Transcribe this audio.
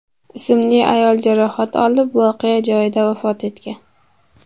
ismli ayol jarohat olib voqea joyida vafot etgan.